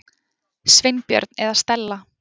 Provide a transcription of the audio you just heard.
Sveinbjörn eða Stella.